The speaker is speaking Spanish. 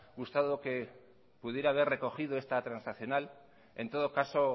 gustado que pudiera haber recogido esta transaccional en todo caso